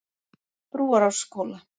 Brúarásskóla